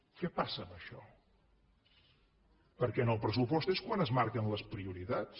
què passa amb això perquè en el pressupost és quan es marquen les prioritats